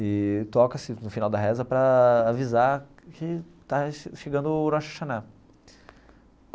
E toca-se no final da reza para avisar que está chegando o Rosh Hashanah.